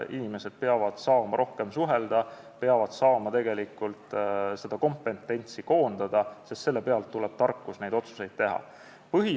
Inimesed peavad saama rohkem suhelda, nad peavad saama kompetentsi koondada, sest selle pealt tuleb tarkus otsuseid teha.